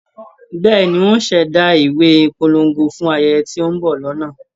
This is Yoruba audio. Bẹ́ẹ̀ni, ń ò ṣ'èdá ìwé ìpolongo fún ayẹyẹ tí ó ń bọ̀ lọ́nà.